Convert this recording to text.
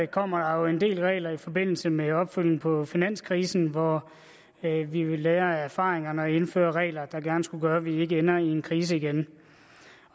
kommer der jo en del regler i forbindelse med opfølgningen på finanskrisen hvor vi vil lære af erfaringerne og indføre regler der gerne skulle gøre at man ikke ender i en krise igen